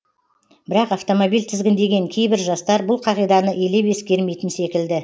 бірақ автомобиль тізгіндеген кейбір жастар бұл қағиданы елеп ескермейтін секілді